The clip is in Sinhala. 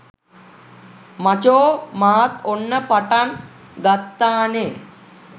මචෝ මාත් ඔන්න පටන් ගත්තානේ